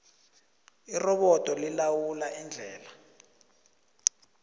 irobodo lilawula indlela